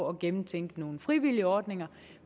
at gennemtænke nogle frivillige ordninger